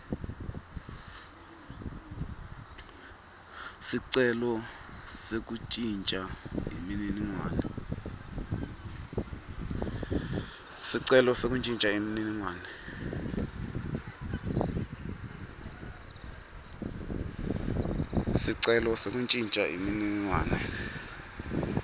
sicelo sekuntjintja imininingwane